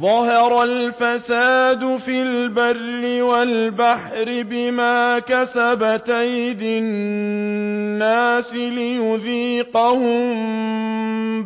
ظَهَرَ الْفَسَادُ فِي الْبَرِّ وَالْبَحْرِ بِمَا كَسَبَتْ أَيْدِي النَّاسِ لِيُذِيقَهُم